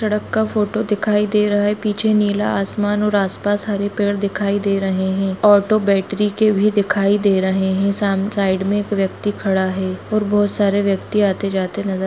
truck का photo दिखाई दे रहा है पीछे नीला आसमान और आस पास हरे पेड़ दिखाई दे रहे है ऑटो बैटरी के भी दिखाई दे रहे है साम-साइड मे एक व्यक्ति खड़ा है और बहोत सारे व्यक्तियाँ आते जाते नजर--